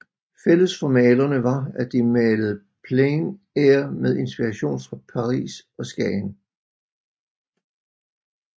Fælles for malerne var at de malede plein air med inspiration fra Paris og Skagen